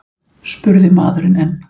spurði maðurinn enn.